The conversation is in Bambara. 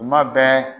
Tuma bɛɛ